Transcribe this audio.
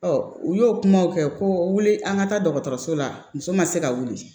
u y'o kumaw kɛ ko wuli an ka taa dɔgɔtɔrɔso la muso ma se ka wuli